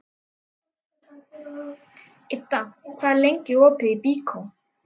Idda, hvað er lengi opið í Byko?